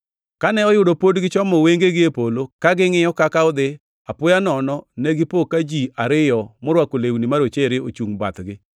Kane oyudo pod gichomo wengegi e polo, ka gingʼiyo kaka odhi, apoya nono, negipo ka ji ariyo morwako lewni marochere ochungʼ bathgi.